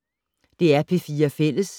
DR P4 Fælles